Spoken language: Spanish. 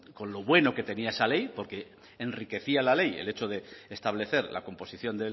con lo bueno que tenía esa ley porque enriquecía la ley el hecho de establecer la composición